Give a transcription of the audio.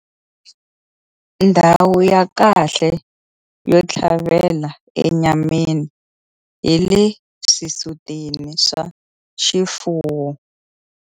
Ndhawu ya kahle yo tlhavela enyameni hi le swisutini swa xifuwo.